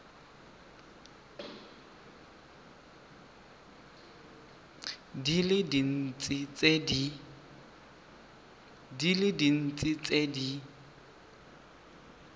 di le dintsi tse di